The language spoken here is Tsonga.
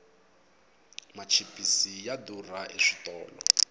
machipisi ya durha eswitolo